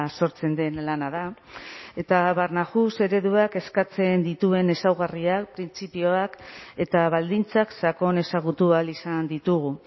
sortzen den lana da eta barnahus ereduak eskatzen dituen ezaugarriak printzipioak eta baldintzak sakon ezagutu ahal izan ditugu